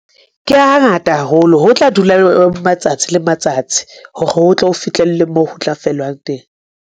Ke hangata haholo ho tla dula matsatsi le matsatsi, hore ho tlo fitlhelle moo ho tla fellwang teng.